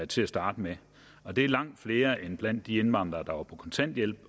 til at starte med og det er langt flere end blandt de indvandrere der var på kontanthjælp